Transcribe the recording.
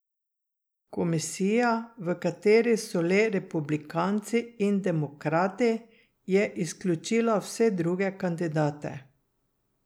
Komisija, v kateri so le republikanci in demokrati, je izključila vse druge kandidate.